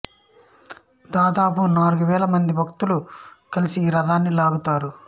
దాదాపు నాలుగు వేల మంది భక్తులు కలిసి ఈ రథాన్ని లాగుతారు